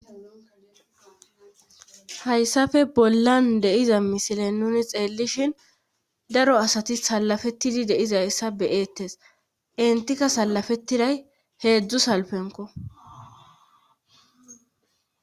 hayssafe bollan deiza misilen nuni xeellishin daro asati salafettidi deizayssa beyeettes entika salafettiday heedzdzu salpenko